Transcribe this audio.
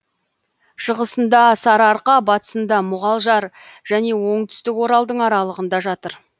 шығысында сарыарқа батысында мұғалжар және оңтүстік оралдың аралығында жатыр